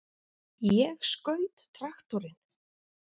Ég skaut traktorinn!